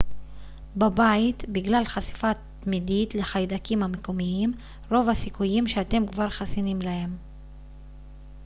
בבית בגלל חשיפה תמידית לחיידקים המקומיים רוב הסיכויים שאתם כבר חסינים להם